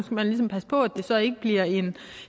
man ligesom passe på at det så ikke bliver en